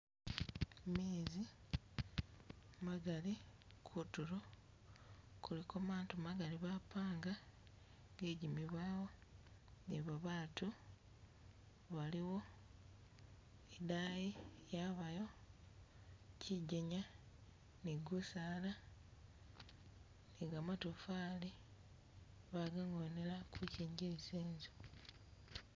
Mezi magali, kutulo kuliko maato magali bapanga ge'jimibawo ni babatu baliwo, idaayi yabayo kyijenya ni gusaala ni gamatofali baga'ngonela kukyingiliza enzu